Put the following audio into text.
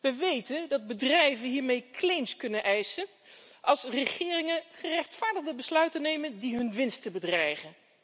We weten dat bedrijven hiermee claims kunnen indienen als regeringen gerechtvaardigde besluiten nemen die hun winsten bedreigen.